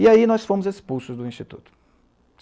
E aí nós fomos expulsos do Instituto.